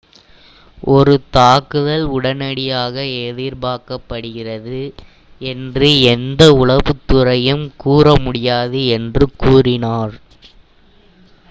"""ஒரு தாக்குதல் உடனடியாக எதிர்பார்க்கப்படுகிறது என்று எந்த உளவுத்துறையும் கூறமுடியாது” என்று கூறினார்.